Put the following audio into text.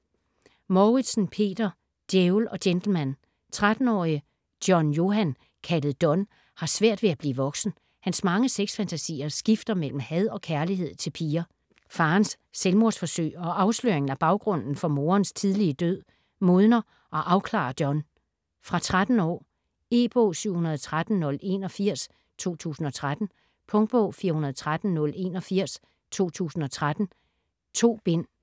Mouritzen, Peter: Djævel & gentleman 13-årige John-Johan, kaldet Don, har svært ved at blive voksen. Hans mange sex-fantasier skifter mellem had og kærlighed til piger. Faderens selvmordsforsøg og afsløringen af baggrunden for moderens tidlige død, modner og afklarer Don. Fra 13 år. E-bog 713081 2013. Punktbog 413081 2013. 2 bind.